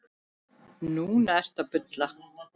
Núna ertu að bulla.